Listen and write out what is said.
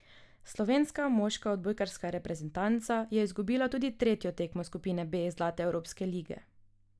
Slovenska moška odbojkarska reprezentanca je izgubila tudi tretjo tekmo skupine B zlate evropske lige.